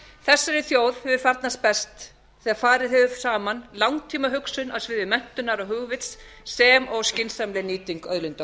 þessari þjóð hefur farnast best þegar farið hefur saman langtímahugsun á sviði menntunar og hugvits sem og skynsamleg nýting auðlinda